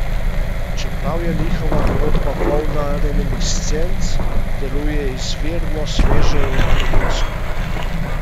Čeprav je njihova godba polna reminiscenc, deluje izvirno, sveže in prvinsko.